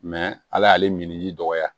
ala y'ale min ji dɔgɔya